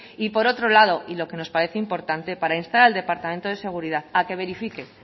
y por otro lado y lo que nos parece importante para instar al departamento de seguridad a que verifique